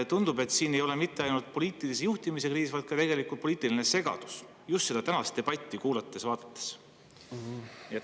Tundub, just seda tänast debatti kuulates-vaadates, et siin ei ole mitte ainult poliitilise juhtimise kriis, vaid ka poliitiline segadus.